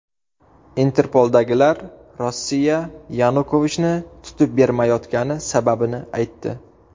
Interpoldagilar Rossiya Yanukovichni tutib bermayotgani sababini aytdi.